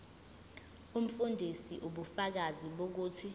umfundisi ubufakazi bokuthi